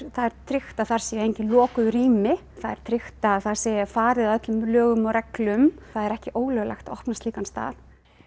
það er tryggt að þar séu engin lokuð rými það er tryggt að það er farið að öllum lögum og reglum það er ekki ólöglegt opna slíkan stað